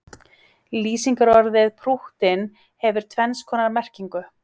Lýsingarorðið prúttinn hefur tvenns konar merkingu.